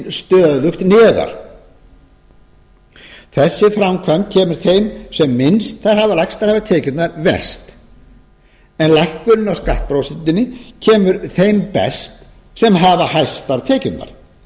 stöðugt neðar þessi framkvæmd kemur þeim sem lægstar hafa tekjurnar verst en lækkunin á skattprósentunni kemur þeim best sem hafa hæstar tekjurnar